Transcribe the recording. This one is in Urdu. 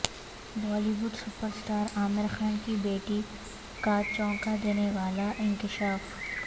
Bali would super star Aamir Khan کی بیٹی کا چونکا دینے والا انکشاف